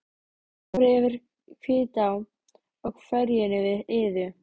Þeir fóru yfir Hvítá á ferjunni við Iðu.